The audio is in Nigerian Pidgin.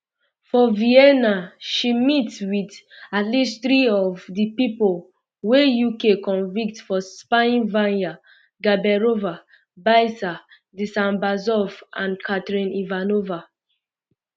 for vienna she meet wit at least three of um di pipo wey uk convict for spyingvanya gaberova biser dzhambazov and katrin ivanova